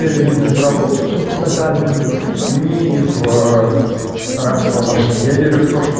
безработицу тотально не в рабство машин я верю